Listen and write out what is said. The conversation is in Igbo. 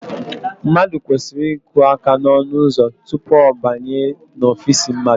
Mmadụ kwesịrị iku aka n'ọnụụzọ tupu ọ banye n'ofiisi mmadụ